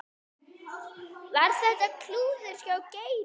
Var þetta klúður hjá Geira?